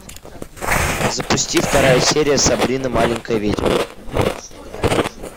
запусти вторая серия сабрина маленькая ведьма